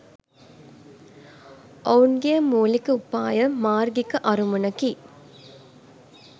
ඔවුන්ගේ මුලික උපාය මාර්ගිික අරමුණකි